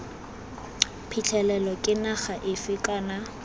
phitlhelelo ke naga efe kana